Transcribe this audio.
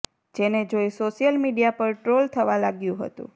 જેને જોઇ social media પર ટ્રોલ થવા લાગ્યુ હતુ